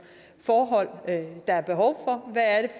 forhold der er behov